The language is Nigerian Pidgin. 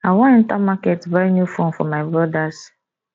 i wan enter market buy new phone for my brodas